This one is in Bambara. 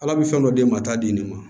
Ala bɛ fɛn dɔ d'e ma t'a di nin ma